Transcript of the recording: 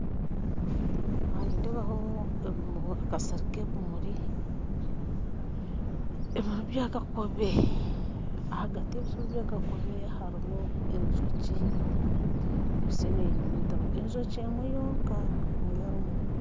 Aha nindebaho akasiri k'ebimuri ebimuri bya kakobe ahagati y'ebimuri bya kakobe harumu enjoki ekwitse nenyunyutamu enjoki emwe yonka niyo erumu.